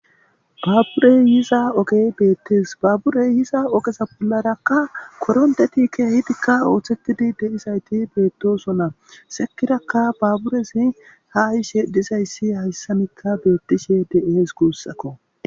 baaburey yiza ogey beettees baaburey yiza ogeza bollarakka korondetike hidikka ooththetidi de7izayti beettooso na sekirakka baaburezi ha ishe disayssi hayssamikka beettishe de7ees guussakko